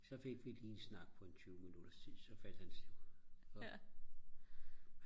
så fik vi lige en snak på en 20 minutters tid så faldt han om